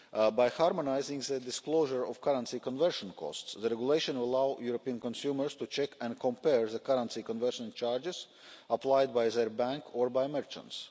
By harmonising the disclosure of currency conversion costs, the regulation will allow European consumers to check and compare the currency conversion charges applied by their bank or by merchants.